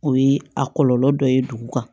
O ye a kɔlɔlɔ dɔ ye dugu kan